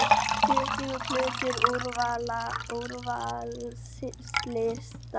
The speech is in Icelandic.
Tuttugu plötur á úrvalslista